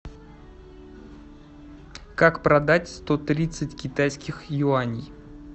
как продать сто тридцать китайских юаней